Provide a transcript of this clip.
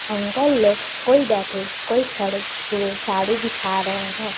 Uncle लोग कोई बैठे कोई खड़े हुए साड़ी दिखा रहे हैं।